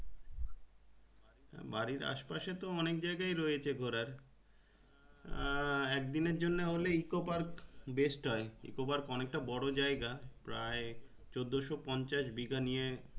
বাড়ির আসে পাশে তো অনেক জায়গাই রয়েছে ঘোড়ার আহ একদিনের জন্যে হলে Ecopark-best হয়ে Ecopark অনেকটা বড়ো জায়গা প্রায় চোদ্দোশো পঞ্চাশ বিঘা নিয়ে